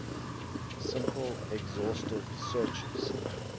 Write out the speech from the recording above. simple exhaustive searches